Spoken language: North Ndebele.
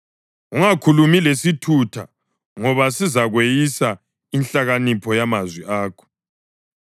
Ungakhulumi lesithutha ngoba sizakweyisa inhlakanipho yamazwi akho.